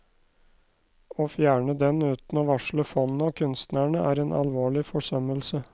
Å fjerne den uten å varsle fondet og kunstnerne, er en alvorlig forsømmelse.